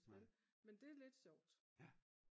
men det er lidt sjovt